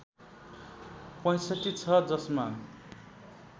६५ छ जसमा